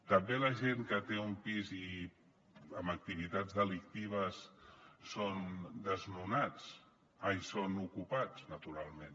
també la gent que té un pis i amb activitats delictives són ocupats naturalment